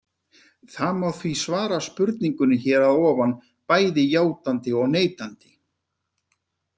Það má því svara spurningunni hér að ofan bæði játandi og neitandi.